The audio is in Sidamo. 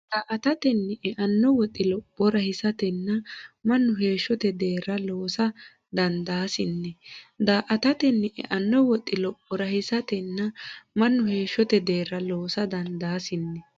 Daa”atatenni eanno woxi lopho rahisatenna mannu heeshshote deerra lossa dandaasinni Daa”atatenni eanno woxi lopho rahisatenna mannu heeshshote deerra lossa dandaasinni.